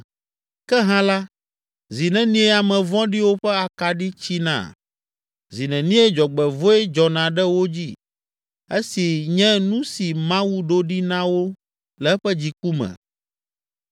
“Ke hã la, zi nenie ame vɔ̃ɖiwo ƒe akaɖi tsina? Zi nenie dzɔgbevɔ̃e dzɔna ɖe wo dzi, esi nye nu si Mawu ɖo ɖi na wo le eƒe dziku me?